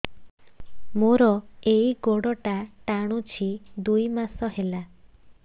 ମୋର ଏଇ ଗୋଡ଼ଟା ଟାଣୁଛି ଦୁଇ ମାସ ହେଲା